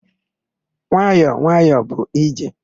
Nwayọ nwayọ bụ ije.